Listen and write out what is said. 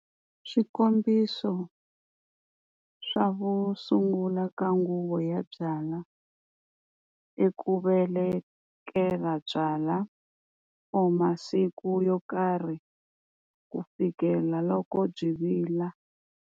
Swikombiso swa vu sungula ka nguva ya byalwa, i ku velekela byalwa or masiku yo karhi ku fikela loko byi vila.